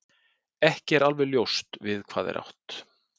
ekki er alveg ljóst við hvað er átt